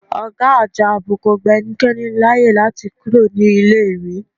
Ọ̀gá Àjọ Ààbò kò gba ẹnikẹ́ni láyè láti kúrò ní iléèwé